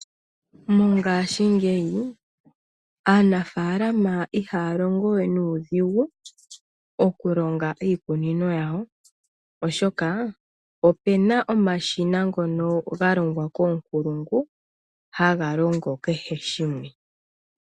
Mongaashingeyi aanafaalama ihaya longo we nuudhigu okulonga iikunino yawo oshoka opuna omashina ngono ga longwa koonkulungu haga longo kehe shimwe.